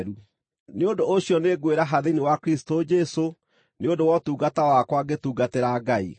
Nĩ ũndũ ũcio nĩngwĩraha thĩinĩ wa Kristũ Jesũ nĩ ũndũ wa ũtungata wakwa ngĩtungatĩra Ngai.